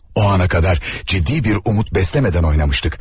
O ana qədər ciddi bir umut bəsləmədən oynamışdıq.